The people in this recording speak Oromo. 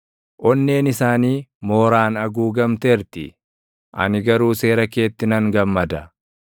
Onneen isaanii mooraan haguugamteerti; ani garuu seera keetti nan gammada.